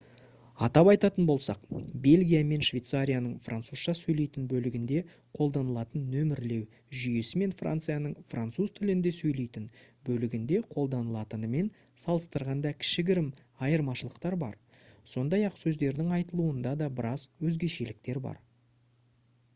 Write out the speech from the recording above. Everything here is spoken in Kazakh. атап айтатын болсақ бельгия мен швейцарияның французша сөйлейтін бөлігінде қолданылатын нөмірлеу жүйесі мен францияның француз тілінде сөйлейтін бөлігінде қолданылатынмен салыстырғанда кішігірім айырмашылықтар бар сондай-ақ сөздердің айтылуында да біраз өзгешеліктер бар